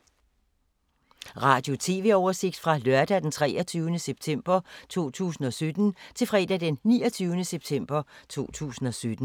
Radio/TV oversigt fra lørdag d. 23. september 2017 til fredag d. 29. september 2017